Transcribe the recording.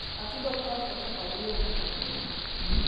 atudo oknyal ketho kar yweyo kaka gwen